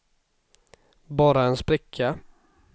bara en spricka